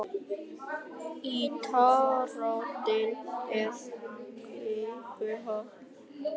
Í tannrótinni er kvikuholið en í því er kvikan.